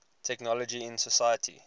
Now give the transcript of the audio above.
technology in society